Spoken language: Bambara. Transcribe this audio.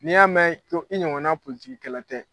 N'i y'a mɛn ko i ɲɔgɔnna politigikɛla tɛ